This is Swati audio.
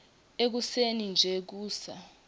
ekuseni nje kusa